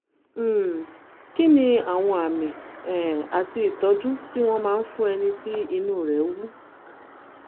um kí ni àwọn àmì um àti ìtọ́jú tí wọ́n máa ń fún ẹni tí inú rẹ̀ wú?